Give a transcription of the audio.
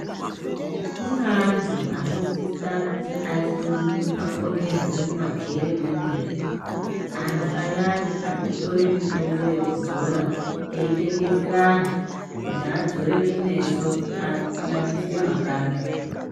Kune antu anosisa kuti aiswe mu akonyerwe mumajere memene , antu ayani arikutore mitombo yekudzora eitengesera antu kuti adzore kumeso anakise makanda.